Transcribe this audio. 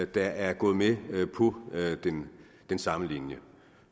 der er gået med på den samme linje